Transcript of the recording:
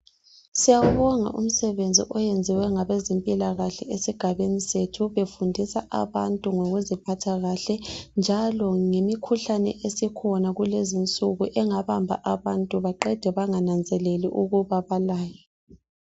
Siyawubonga umsebenzi oyenziwe ngabezempilakahle esigabeni sethu befundisa abantu ngokuziphatha kahle njalo ngemikhuhlane esikhona kulezinsuku engabamba abantu baqede bangananzeleli ukuba balayo.